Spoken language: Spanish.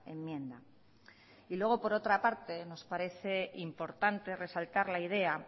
enmienda y luego por otra parte nos parece importante resaltar la idea